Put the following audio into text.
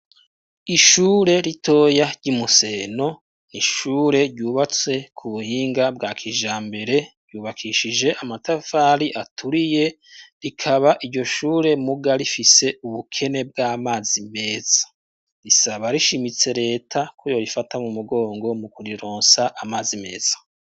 Ishure ritoya ry'imuseno, n'ishure ryubatse ku buhinga bwa kijambere, ryubakishije Amatafari aturiye rikaba iryo shure muga rifise ubukene bw'amazi meza, risaba rishimitse reta ko yo rifata mu mugongo mu kurironsa amazi meza.